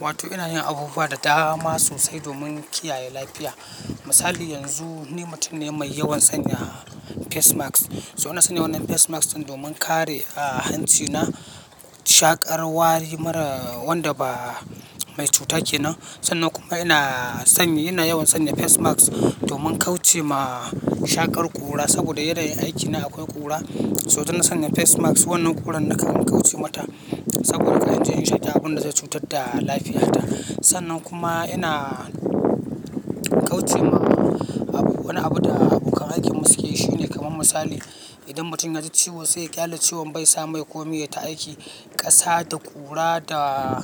Wato ina yin abubuwa da dama sosai domin kiyaye lafiya. Misali yanzu ni mutum ne mai yawan sanya face mask. So ina sanya wannan face mask ɗin domin kare, ah, hancina shaƙar wari mara wanda ba mai cuta kenan. Sannan kuma ina son yi, ina yawan sanya face mask domin kauce ma shaƙar ƙura saboda yana yin aikina akwai ƙura. So to ina sanya face mask wannan ƙuran nakan kauce mata saboda ka yanzu yin shaida abunda zai cutar da lafiyarta. Sannan kuma ina kauce ma abu, wani abu da abokan aikimu suke yi shine kamar misali idan mutum ya ji ciwo sai ya ƙyale ciwon bai sa mai komai ya ta aiki ƙasa da ƙura da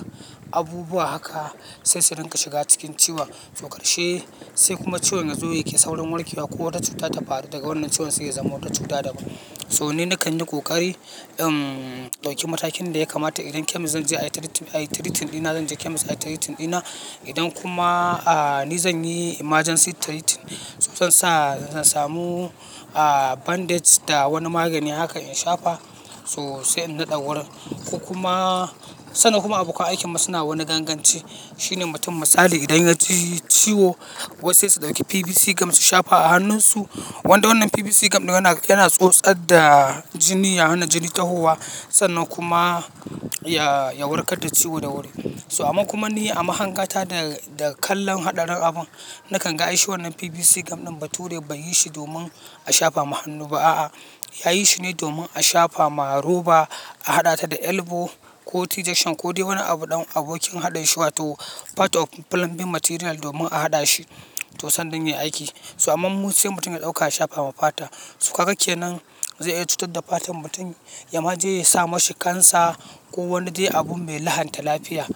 abubuwa haka sai su rinka shiga cikin ciwon. To karshe sai kuma ciwon yazo yake saurin warke wa ko wata cuta ta faru daga wannan ciwon sai ya zama wata cuta dabam. So ni nakan yi ƙoƙari in dauki matakin da ya kamata idan chemist zan je ai treating dina, zan je chemist ayi treating dina. Idan kuma, ah, ni zan yi emergency treatment so zan sa, zan samu, ah, bandage da wani magani haka in shafa sosai in naɗa wurin. Ko kuma, sannan kuma abokan aikimu suna wani ganganci shine mutum misali idan ya ji ciwo wasu sai su ɗauki PVC gum su shafa a hannunsu. Wanda wannan PVC gam ɗin yana, yana tsotsar da jini, ya hana jini tahowa sannan kuma ya, ya warkar da ciwo da wuri. So amma kuma ni a mahangata da, da kallon haɗa rin nakan ga ishi wannan PVC gam ɗin ba to dai ba yi shi domin a shafa ma hannu ba a'a. Yayi shi ne domin a shafa ma roba a haɗa ta da elbow ko ɗigi shan ko dai wani abu ɗan abokin haɗa shi wato part of plumbing material domin a haɗa shi to sannan ya yi aiki. So amma mu sai mutum ya ɗauka ya shafa wa fata. Kaga ke nan zai iya cutar da fatan mutum, ya ma je ya sa mashi cancer ko wani dai abu mai lahanta lafiya.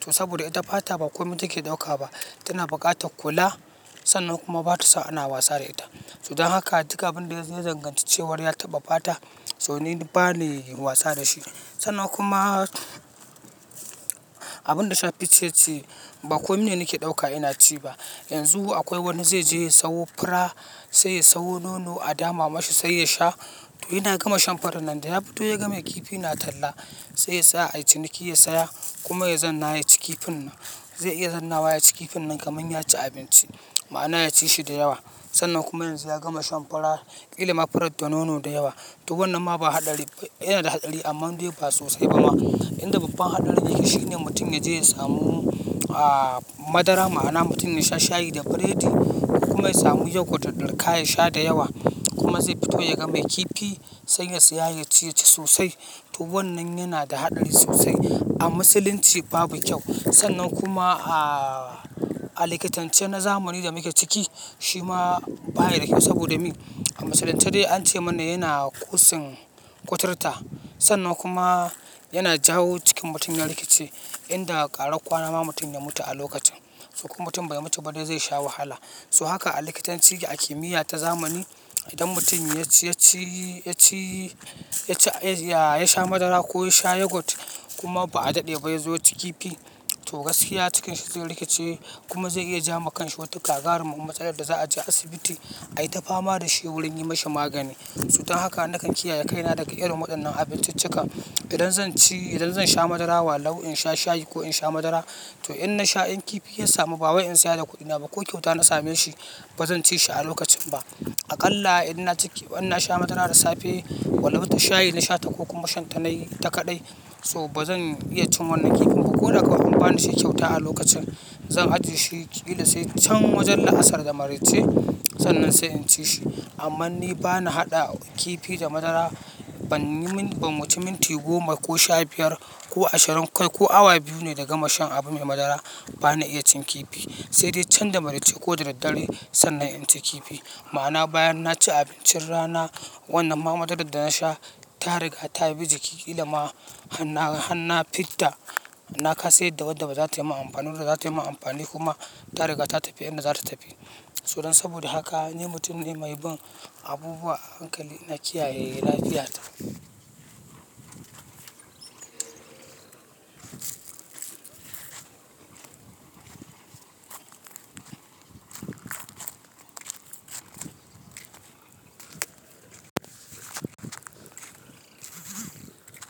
To saboda ita fata ba komai take ɗauka ba tana buƙatar kula sannan kuma ba to sa ana wasa da ita. So don haka duka abin da zai danganci cewa ya taɓa fata so ni ba na yi wasa da shi. Sannan kuma abin da sha ficce ce ba komai ne nake ɗauka ina ci ba. Yanzu akwai wani zai je ya siyo fura sai ya siyo nono a dama ma shi sai ya sha. Yana gama shan furannan daya fito yaga mai kifin na talla seya seya ayi ciniki ya saya kuma ya zauna yaci kifinnan zai iya zounawa yaci kifinnan kaman yaci abinci ma'ana yaci shi dayawa. Sannan kuma yanzu ya gama shan furar kilama furat da nono da yawa. To wannan ma ba haɗari, yana da haɗari amman dai bai ba sosai ba ma. Inda babban haɗarin yake shine mutum ya je ya samu, ah, madara ma'ana mutum ya sha shayi da bredi kuma ya samu yogurt ya dirka ya sha da yawa kuma zai fito ya ga me kifi sai ya saya ya ci shi sosai. To wannan yana da haɗari sosai a musulunci babu kyau sannan kuma, ah, a likitancin na zamani da muke ciki shi ma baya da kyau saboda me? A musulunce dai an ce mana yana kosing kuturta sannan kuma yana jawo cikin mutum ya rikice inda ƙara ƙwana ma mutum ya mutu a lokacin. To kuma mutum bai mutu ba dai zai sha wahala. To haka a likitanci ke a kimiyya ta zamani idan mutum ya ci, ya ci, ya ci, ya ci, ah, ya sha madara ko ya sha yogurt kuma ba a daɗe ba ya zo ya ci kifi to gaskiya cikinsa za ya rikice kuma zai iya ja wa kanshi wata kagarar mutsalar da za a je asibiti ai ta fama da shi wurin yi mashi magani. Cuta haka nakan kiyaye kaina daga irin wayannan abincicikan idan zan ci, idan zan sha madara walau in sha shayi ko in sha madara to in na sha in kifi ya samu ba wai in saya da kuɗina ba ko kyauta na same shi ba zan ci shi a lokacin ba. Aƙalla idan na ciki, idan na sha madara da safe walau bata shayi na sha ta ko kuma shan ta na yi ita kaɗai to ba zan iya cin wannan kifin ba ko daga kuma ba ni shi kyauta a lokacin. Zan ajiye shi ƙila sai can wajen la'asar da maraice sannan sai in ci shi. Amma ni ba na haɗa kifi da madara ban yi min, ban wuce minti goma ko sha biyar ko ashirin kai ko awa biyu ne daga shan abu mai madara ba na iya cin kifi sai dai can da maraice ko da daddare sannan in ci kifi ma'ana bayan na ci abincin rana wannan ma madarar da na sha ta riga ta bi jiki da ma hana, hana fita na kasa yadda wadda ba za ta yi ma amfani ba za ta yi ma amfani kuma ta riga ta tafi inda za ta tafi. So don saboda haka ni mutum ne mai bin abubuwa a hankali ina kiyaye lafiyata.